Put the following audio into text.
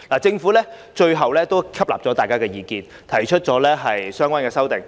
政府最終接納了委員的意見，提出了相關的修訂。